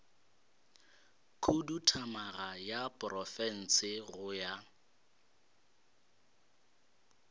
khuduthamaga ya profense go ya